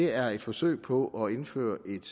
er et forsøg på at indføre et